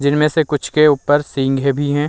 जिनमे से कुछ के ऊपर सिंगे भी है।